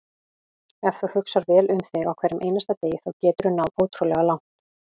Ef þú hugsar vel um þig á hverjum einasta degi þá geturðu náð ótrúlega langt.